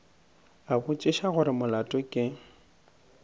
a botšiša gore molato ke